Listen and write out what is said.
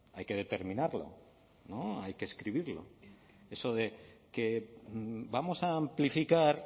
hay que determinarlo no hay que escribirlo eso de que vamos a amplificar